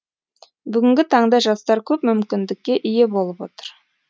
бүгінгі таңда жастар көп мүкіндікке ие болып отыр